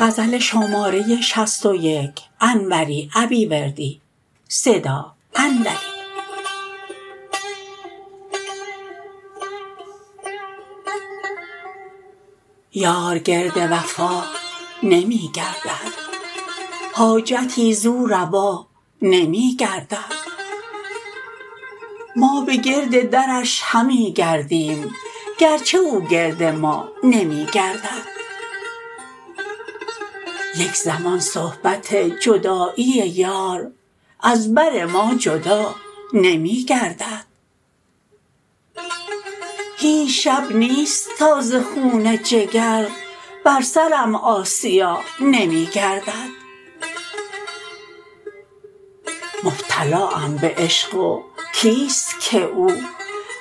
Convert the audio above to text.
یار گرد وفا نمی گردد حاجتی زو روا نمی گردد ما به گرد درش همی گردیم گرچه او گرد ما نمی گردد یک زمان صحبت جدایی یار از بر ما جدا نمی گردد هیچ شب نیست تا ز خون جگر بر سرم آسیا نمی گردد مبتلاام به عشق و کیست که او